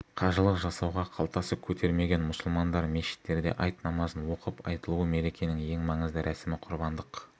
қажылық жасауға қалтасы көтермеген мұсылмандар мешіттерде айт намазын оқып айтулы мерекенің ең маңызды рәсімі құрбандық